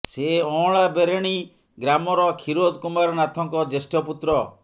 ସେ ଅଁଳାବେରେଣି ଗ୍ରାମର କ୍ଷୀରୋଦ କୁମାର ନାଥଙ୍କ ଜ୍ୟେଷ୍ଠ ପୁତ୍ର